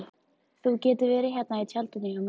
Þú getur verið hérna í tjaldinu hjá mér